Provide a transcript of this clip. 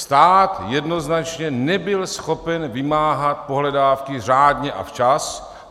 Stát jednoznačně nebyl schopen vymáhat pohledávky řádně a včas.